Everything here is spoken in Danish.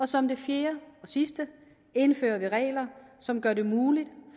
som det fjerde og sidste indfører vi regler som gør det muligt